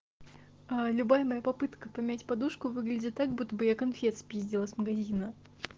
аа любая попытка поменять подушку выглядит так будто бы я конфет спиздила с магазина